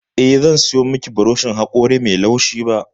Eh, zan sayo miki burushin haƙori mai laushi ba.